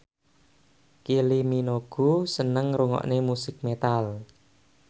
Kylie Minogue seneng ngrungokne musik metal